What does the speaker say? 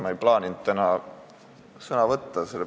Ma ei plaaninud täna sõna võtta.